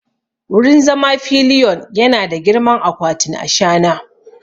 Wurin zama pillion yana da girman akwatin ashana!